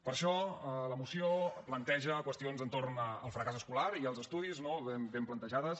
per això la moció planteja qüestions entorn del fracàs escolar i els estudis ben plantejades